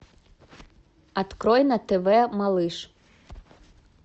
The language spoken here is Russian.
открой на тв малыш